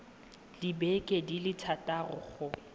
dibeke di le thataro go